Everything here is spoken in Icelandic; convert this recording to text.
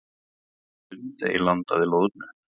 Lundey landaði loðnu